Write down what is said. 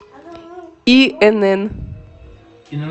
инн